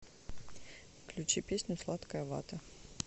включи песню сладкая вата